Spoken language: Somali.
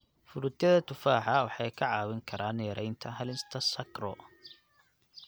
Fruityada tufaaxa waxay ka caawin karaan yareynta halista sarco.